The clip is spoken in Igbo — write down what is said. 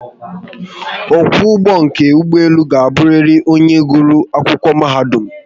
Okwo ugbo nke ugboelu ga-abụriri onye gụrụ Akwụkwọ mahadum